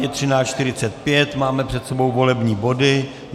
Je 13.45, máme před sebou volební body.